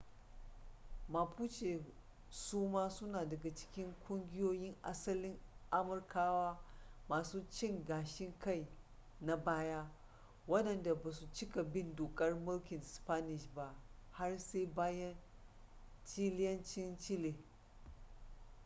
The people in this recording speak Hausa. mapuche suma suna daga cikin kungiyoyin asalin amurkawa masu cin gashin kai na baya waɗanda ba su cika bin dokar mulkin spanish ba har sai bayan chileancin chile